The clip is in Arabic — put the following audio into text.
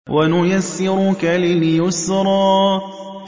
وَنُيَسِّرُكَ لِلْيُسْرَىٰ